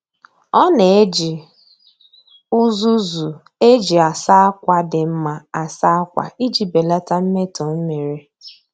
Ọ na-eji uzuzu e ji asa akwa dị mma asa akwa iji belata mmetọ mmiri.